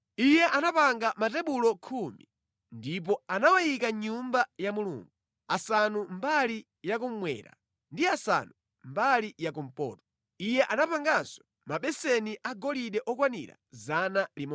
Iye anapanga matebulo khumi ndipo anawayika mʼNyumba ya Mulungu, asanu mbali ya kummwera ndi asanu mbali ya kumpoto. Iye anapanganso mabeseni agolide okwanira 100.